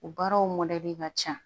O baaraw mɔdɛli ka ca